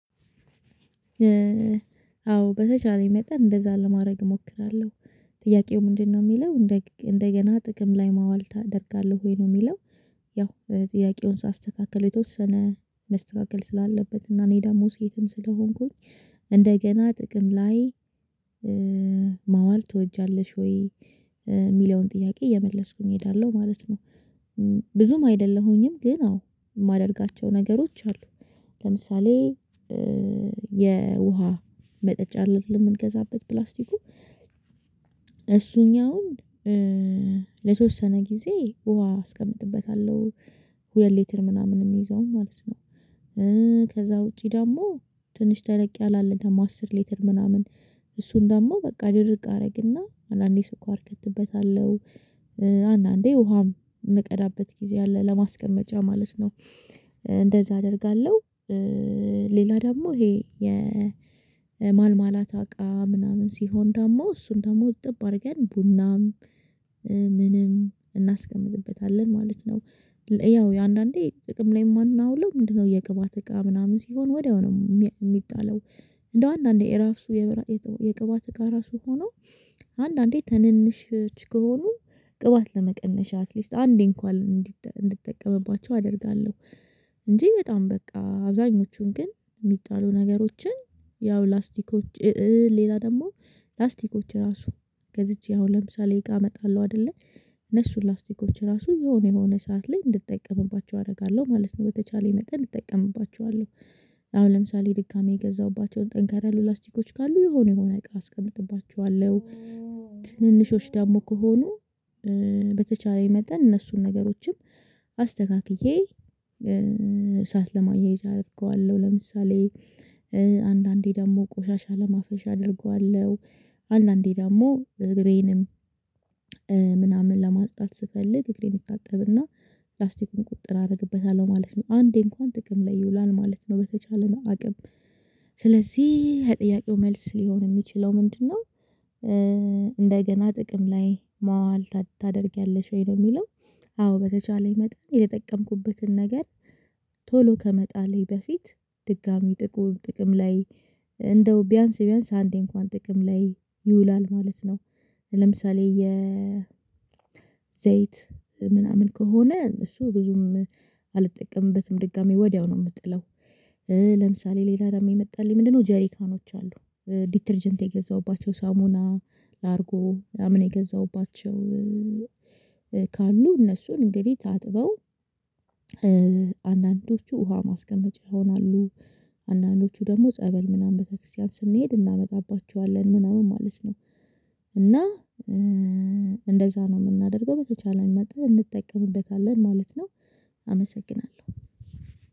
አዎ በተቻለኝ መጠን እንደዛ ለማድረግ እሞክራለሁ። ጥያቄው ምንድነው ሚለው? እንደገና ጥቅም ላይ ማዋል ታደርጋለህ ወይ? ነው ሚለው። ያው ጥያቄውን ሳስተካክለው የተወሰነ መስተካከል ስላለበት እና እኔ ደሞ ሴትም ስለሆንኩኝ እንደገና ጥቅም ላይ ማዋል ትወጃለሽ ወይ? ሚለውን ጥያቄ እየመለስኩኝ እሄዳለሁ ማለት ነው። ብዙም አይደለሁኝም ግን አዎ ማደርጋቸው ነገሮች አሉ ለምሳሌ የውሃ መጠጫ አለ አይደለ የምንገዛበት ፕላስቲኩ? እሱኛውን ለተወሰነ ጊዜ ውሃ አስቀምጥበታለሁ ሁለት ሊትር ምናምን የሚይዘውን ማለት ነው። ከዛ ውጪ ደግሞ ትንሽ ተለቅ ያለ አለ ደግሞ አስር ሊትር ምናምን። እሱን ደግሞ ድርቅ አደረግና አንዳንዴ ስኳር እከትበታለሁ አንዳንዴ ውሃም ምቀዳበት ጊዜ አለ ለማስቀመጫ ማለት ነው። እንደዛ አደርጋለሁ ሌላ ደግሞ ይሄ የማርማላታ እቃ ምናምን ሲሆን ደግሞ እሱን ደግሞ እጥብ አርገን ቡናም እናስቀምጥበታለንግበታለን ማለት ነው ያው የአንዳንዴ ጥቅም ላይ የማናውለው ምንድነው የቅባት እቃ ምናምን ሲሆን ወዲያው ነው የሚጣለው እንደው አንዳንዴ የራፍሱ የቅባት እቃ ራሱ ሆኖ አንዳንዴ ትንንሾች ከሆኑ ቅባት ለመቀነሻ አትሊስት አንዴ እንኳን እንድጠቀምባቸው አደርጋለሁ እንጂ በጣም በቃ አብዛኞቹን ግን ሚጣሉ ነገሮችን ያው ላስቲኮች ሌላ ደግሞ ላስቲኮች ራሱ ገዝቼ አሁን ለምሳሌ እቃ አመጣለሁ አይደለ? እነሱን ላስቲኮች ራሱ የሆነ የሆነ ሰዓት ላይ እንድጠቀምባቸው አደርጋለሁ ማለት ነው። በተቻለኝ መጠን እጠቀምባቸዋለሁ። አሁን ለምሳሌ ድጋሜ የገዛሁባቸውን ጠንከር ያሉ ላስቲኮች ካሉ የሆነ የሆነ እቃ አስቀምጥባቸዋለሁ ትንንሾች ደግሞ ከሆኑ በተቻለኝ መጠን እነሱን ነገሮችም አስተካክዬ እሳት ለማያያዝ አደርገዋለሁ። ለምሳሌ አንዳንዴ ደግሞ ቆሻሻ ለማፈሻ አደርገዋለሁ አንዳንዴ ደግሞ እግሬንም ምናምን ለማጽዳት ስፈልግ እግሬን እታጠብና ፕላስቲኩን ቁጥጥር አደርግበታለሁ ማለት ነው። አንዴ እንኳን ጥቅም ላይ ይውላል ማለት ነው በተቻለ አቅም ስለዚህ የጥያቄው መልስ ሊሆን የሚችለው ምንድነው? እንደገና ጥቅም ላይ ማዋል ታደርጊያለሽ ወይ ነው ሚለው አዎ በተቻለኝ መጠን የተጠቀምኩበትን ነገር ቶሎ ከመጣሌ በፊት ድጋሚ ጥቅም ጥቅም ላይ እንደው ቢያንስ ቢያንስ አንዴ እንኳን ጥቅም ላይ ይውላል ማለት ነው። ለምሳሌ የዘይት ምናምን ከሆነ እሱ ብዙም አልጠቀምበትም ድጋሚ ወዲያው ነው ምጥለው። ለምሳሌ ሌላ ደግሞ የመጣልኝ ምንድነው? ጀሪካኖች አሉ ዲተርጀንት የገዛሁባቸው ሳሙና፣ ላርጎ ምናምን የገዛሁባቸው ካሉ እነሱን እንግዲህ ታጥበው አንዳንዶቹ ውሃ ማስቀመጫ ይሆናሉ አንዳንዶቹ ደግሞ ጸበል ምናምን ቤተክርስቲያን ስንሄድ እናመጣባቸዋለን ምናምን ማለት ነው። እና እንደዛ ነው ምናደርገው በተቻለን መጠን እንጠቀምበታለን ማለት ነው። አመሰግናለሁ!